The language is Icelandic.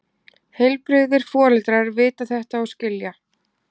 Heilbrigðir foreldrar vita þetta og skilja.